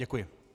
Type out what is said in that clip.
Děkuji.